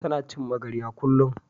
Ta na cin magarya kullun